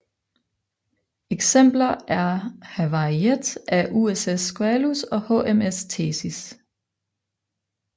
Eksempler er havariet af USS Squalus og HMS Thetis